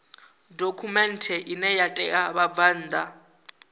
dokhumenthe ine ya ṋea vhabvann